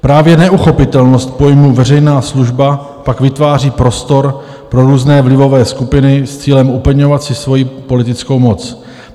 Právě neuchopitelnost pojmu veřejná služba pak vytváří prostor pro různé vlivové skupiny s cílem upevňovat si svoji politickou moc.